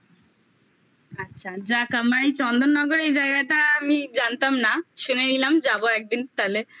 আচ্ছা যাক আমি চন্দননগরে এই জায়গাটা আমি জানতাম না শুনে নিলাম যাবো একদিন তালে